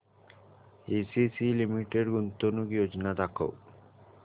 ACC limited गुंतवणूक योजना दाखव